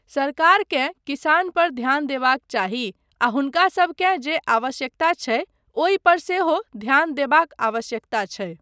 सरकारकेँ किसान पर ध्यान देबाक चाही आ हुनकासबकेँ जे आवश्यकता छै ओहि पर सेहो ध्यान देबाक आवश्यकता छै।